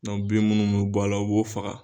bin minnu bɛ bɔ la u b'olu faga